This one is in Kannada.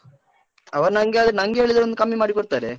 ಅವ ನಂಗೆ ಆದ್ರೆ, ನಂಗೆ ಹೇಳಿದ್ರೆ ಒಂದ್ ಕಮ್ಮಿ ಮಾಡಿ ಕೊಡ್ತರೆ.